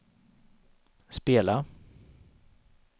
spela